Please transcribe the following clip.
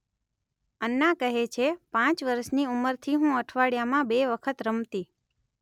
અન્ના કહે છે પાંચ વર્ષની ઉંમરથી હું અઠવાડિયામાં બે વખત રમતી